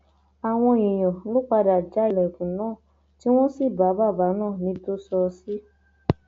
àwọn èèyàn ló padà já ilẹkùn náà tí wọn sì bá bàbá náà níbi tó sọ sí